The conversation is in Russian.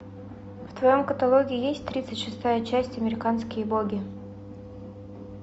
в твоем каталоге есть тридцать шестая часть американские боги